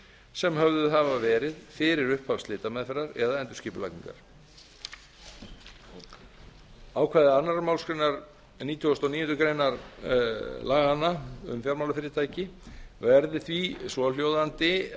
sem höfðuð hafa verið fyrir upphaf slitameðferðar eða endurskipulagningar ákvæði annarrar málsgreinar nítugasta og níundu grein laganna um fjármálafyrirtæki verði því svohljóðandi